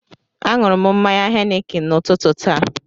Aṅụrụ m mmanya Henikin n'ụtụtụ taa